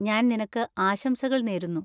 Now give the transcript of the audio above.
ഞാൻ നിനക്ക് ആശംസകൾ നേരുന്നു.